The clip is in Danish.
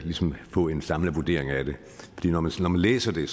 få en samlet vurdering af det når man læser det